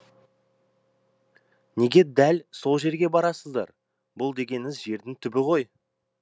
неге дәл сол жерге барасыздар бұл дегеніңіз жердің түбі ғой